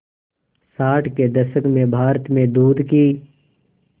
साठ के दशक में भारत में दूध की